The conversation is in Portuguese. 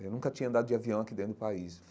Eu nunca tinha andado de avião aqui dentro do país.